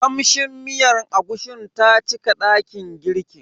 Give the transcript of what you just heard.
Kamshin miyar agushin ta cika dakin girkin.